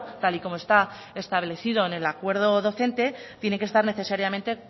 tal y como está establecido en el acuerdo docente tiene que estar necesariamente